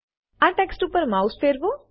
આ ટેક્સ્ટ ઉપર માઉસ ફેરવો